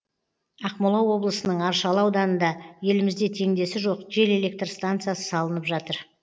ақмола облысының аршалы ауданында елімізде теңдесі жоқ жел электр станциясы салынып жатыр